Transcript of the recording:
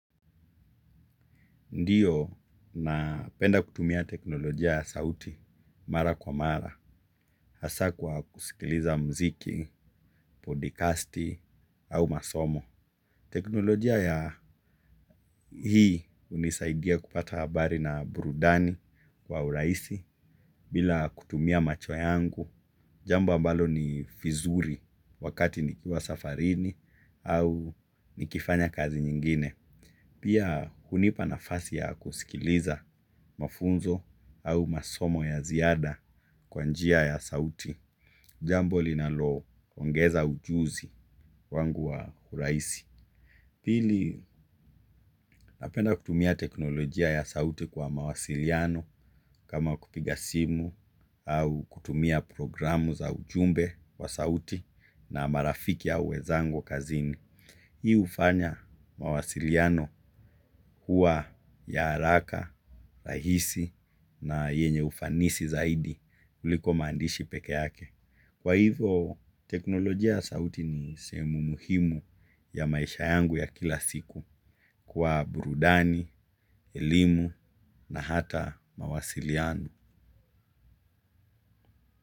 Ndiyo napenda kutumia teknolojia ya sauti mara kwa mara hasa kwa kusikiliza mziki, podcasti au masomo. Teknolojia ya hii unisaidia kupata abari na burudani kwa uraisi bila kutumia macho yangu jambo ambalo ni fizuri wakati nikiwa safarini au nikifanya kazi nyingine. Pia hunipa nafasi ya kusikiliza mafunzo au masomo ya ziada kwa njia ya sauti. Jambo linaloongeza ujuzi wangu wa huraisi. Pili napenda kutumia teknolojia ya sauti kwa mawasiliano kama kupiga simu au kutumia programu za ujumbe wa sauti na marafiki au wezangukazini. Hii ufanya mawasiliano hua ya alaka, rahisi na yenye ufanisi zaidi uliko maandishi peke yake. Kwa hivo, teknolojia sauti ni sehemu muhimu ya maisha yangu ya kila siku kwa burudani, elimu na hata mawasiliano.